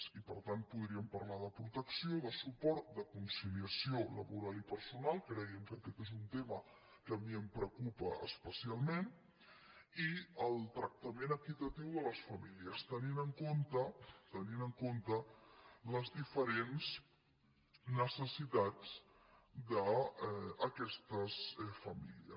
i per tant podríem parlar de protecció de suport de conciliació laboral i personal cregui’m que aquest és un tema que a mi em preocupa especialment i el tractament equitatiu de les famílies tenint en compte tenint en compte les diferents necessitats d’aquestes famílies